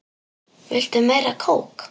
Viltu meira kók?